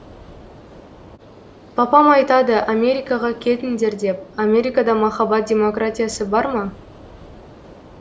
папам айтады америкаға кетіңдер деп америкада махаббат демократиясы бар ма